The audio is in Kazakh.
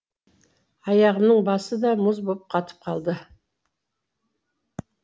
аяғымның басы да мұз болып қатып қалды